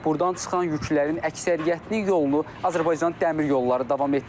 Burdan çıxan yüklərin əksəriyyətinin yolunu Azərbaycan Dəmir Yolları davam etdirir.